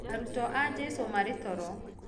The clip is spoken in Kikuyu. Arutwo a jesũ marĩtoro